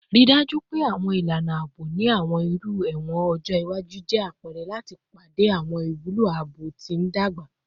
Rii daju pe awọn ilana aabo ni awọn iru ẹwọn ọjọ iwaju jẹ apẹrẹ lati pade awọn iwulo aabo ti ndagba